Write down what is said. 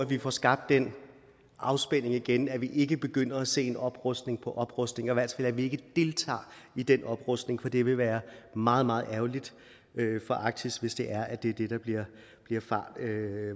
vi får skabt den afspænding igen så vi ikke begynder at se oprustning på oprustning i hvert fald at vi ikke deltager i den oprustning for det vil være meget meget ærgerligt for arktis hvis det er at det er det der bliver